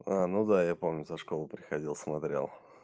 ну да я помню со школы приходил смотрел